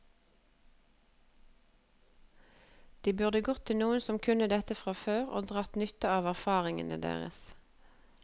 De burde gått til noen som kunne dette fra før, og dratt nytte av erfaringene deres.